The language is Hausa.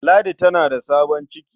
Ladi tana da sabon ciki.